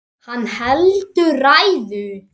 Hann heldur ræðu.